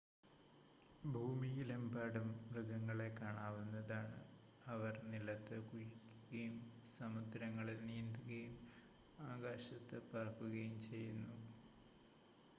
ഭൂമിയിലെമ്പാടും മൃഗങ്ങളെ കാണാവുന്നതാണ് അവർ നിലത്ത് കുഴിക്കുകയും സമുദ്രങ്ങളിൽ നീന്തുകയും ആകാശത്ത് പറക്കുകയും ചെയ്യുന്നു